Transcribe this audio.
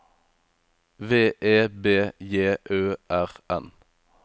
V E B J Ø R N